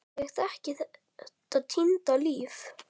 Ég þekki þetta týnda líf.